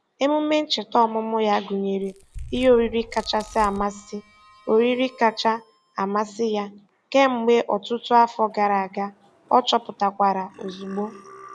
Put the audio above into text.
Emume ncheta ọmụmụ ya gụnyere ihe oriri kacha amasị oriri kacha amasị ya kemgbe ọtụtụ afọ gara aga, ọ chọpụtakwara ozugbo.